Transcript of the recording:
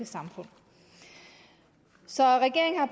samfund så regeringen har